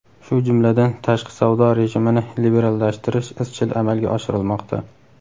shu jumladan tashqi savdo rejimini liberallashtirish izchil amalga oshirilmoqda.